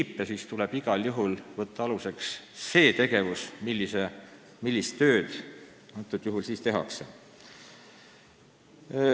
Kui neid ei järgita, tuleb igal juhul võtta aluseks see, millist tööd sellisel juhul tehakse.